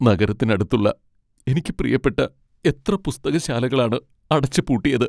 നഗരത്തിനടുത്തുള്ള എനിക്ക് പ്രിയപ്പെട്ട എത്ര പുസ്തകശാലകളാണ് അടച്ച് പൂട്ടിയത്.